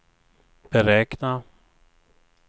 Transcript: beräkna